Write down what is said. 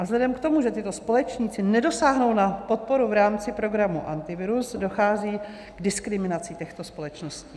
A vzhledem k tomu, že tyto společníci nedosáhnou na podporu v rámci programu Antivirus, dochází k diskriminaci těchto společností.